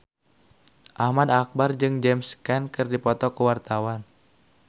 Ahmad Albar jeung James Caan keur dipoto ku wartawan